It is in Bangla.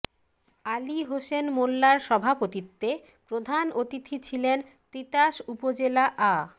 আলী হোসেন মোল্লার সভাপতিত্বে প্রধান অতিথি ছিলেন তিতাস উপজেলা আ